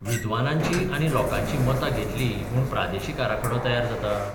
विद्वानांचीं आनी लोकांचीं मतां घेतलीं म्हूण प्रादेशीक आराखडो तयार जाता?